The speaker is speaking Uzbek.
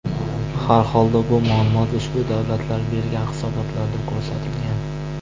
Harholda bu ma’lumot ushbu davlatlar bergan hisobotlarda ko‘rsatilgan.